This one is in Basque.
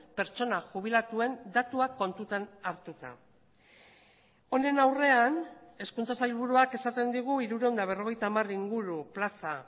pertsona jubilatuen datuak kontutan hartuta honen aurrean hezkuntza sailburuak esaten digu hirurehun eta berrogeita hamar inguru plaza